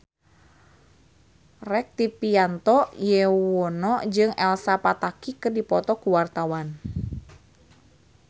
Rektivianto Yoewono jeung Elsa Pataky keur dipoto ku wartawan